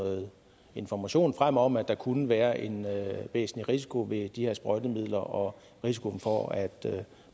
noget information frem om at der kunne være en væsentlig risiko ved de her sprøjtemidler og risiko for at